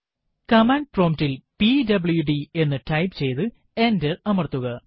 command പ്രോംറ്റിൽ PWD എന്ന് type ചെയ്തു എന്റർ അമർത്തുക